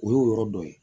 O y'o yɔrɔ dɔ ye